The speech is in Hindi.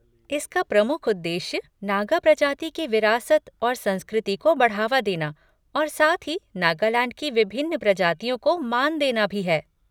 इसका प्रमुख उद्देश्य नागा प्रजाति की विरासत और संस्कृति को बढ़ावा देना और साथ ही नागालैंड की विभिन्न प्रजातिओं को मान देना भी है।